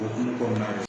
O hukumu kɔnɔna na